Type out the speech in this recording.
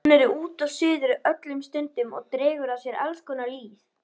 Hún er út og suður öllum stundum og dregur að sér alls konar lýð.